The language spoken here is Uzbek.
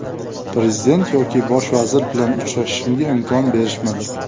Prezident yoki bosh vazir bilan uchrashishimga imkon berishmadi.